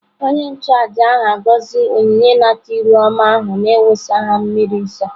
Onye-nchu-àjà āgọzi onyinye-inata-iru-ọma ahu na iwusa ha miri nsọ.